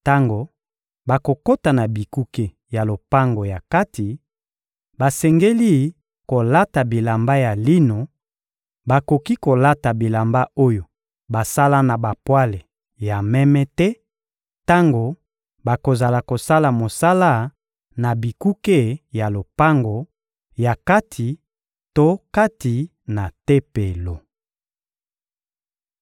Tango bakokota na bikuke ya lopango ya kati, basengeli kolata bilamba ya lino; bakoki kolata bilamba oyo basala na bapwale ya meme te tango bakozala kosala mosala na bikuke ya lopango ya kati to kati na Tempelo.